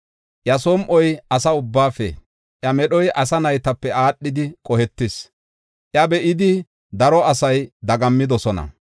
Iya som7oy asa ubbaafe, iya medhoy asa naytape aadhidi qohetis; iya be7idi daro asay dagammidosona.